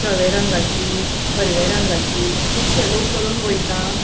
धव्या रंगाची हिरव्या रंगाची कूबशे लोक चोलोन वैता.